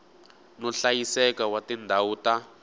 no hlayiseka wa tindhawu ta